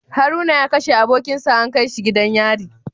Haruna ya kashe abokinsa an kaishi gidan yari